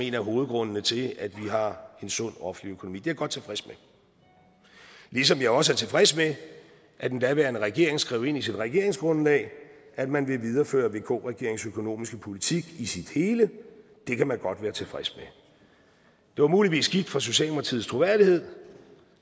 en af hovedgrundene til at vi har en sund offentlig økonomi det er jeg godt tilfreds med ligesom jeg også er tilfreds med at den daværende regering skrev ind i sit regeringsgrundlag at man ville videreføre vk regeringens økonomiske politik i sin hele det kan man godt være tilfreds med det var muligvis skidt for socialdemokratiets troværdighed